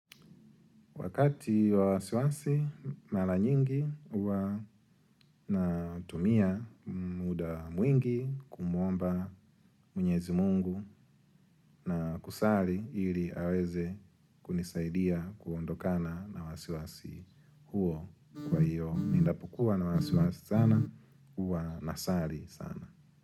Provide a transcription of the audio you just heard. Wakati wa wasiwasi mara nyingi huwa natumia muda mwingi kumuomba mwenyezi mungu na kusali ili aweze kunisaidia kuondokana na wasiwasi huo kwa hiyo. Ninapokuwa na wasiwasi sana huwa nasali sana.